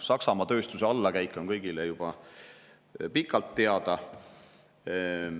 Saksamaa tööstuse allakäik on kõigile juba ammu teada.